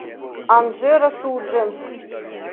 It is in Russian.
анжеро судженск